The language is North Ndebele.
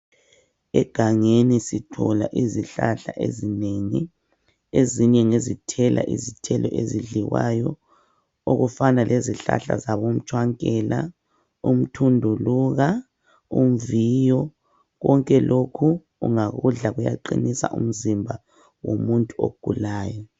Egangeni sithola izihlahla ezinengi. Ezinye ngezithela izithelo ezidliwayo okufana lezihlahla zabomtshwankela, umthunduluka, umviyo. Konke lokhu ungakudla kuyaqinisa umzimba womuntu ogulayo.